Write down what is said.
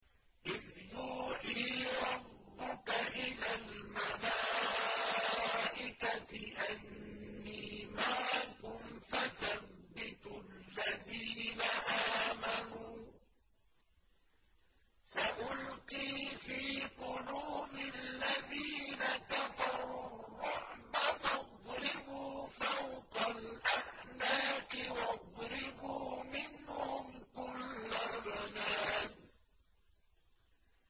إِذْ يُوحِي رَبُّكَ إِلَى الْمَلَائِكَةِ أَنِّي مَعَكُمْ فَثَبِّتُوا الَّذِينَ آمَنُوا ۚ سَأُلْقِي فِي قُلُوبِ الَّذِينَ كَفَرُوا الرُّعْبَ فَاضْرِبُوا فَوْقَ الْأَعْنَاقِ وَاضْرِبُوا مِنْهُمْ كُلَّ بَنَانٍ